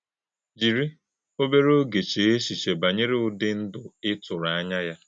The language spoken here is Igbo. Jírí òbèrè ògé chéē èchéchíè bányèrè ụ́dị̄ ndụ́ ị́ tụrụ̄ ànyá̄ ya.